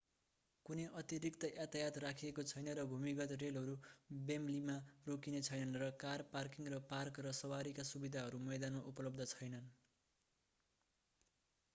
कुनै अतिरिक्त यातायात राखिएको छैन र भूमिगत रेलहरू वेमब्लीमा रोकिने छैनन् र कार पार्किङ र पार्क र सवारीका सुविधाहरू मैदानमा उपलब्ध छैनन्